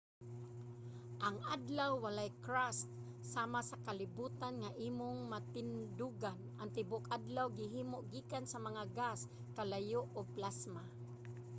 ang adlaw walay crust sama sa kalibutan nga imong matindugan. ang tibuok adlaw gihimo gikan sa mga gas kalayo ug plasma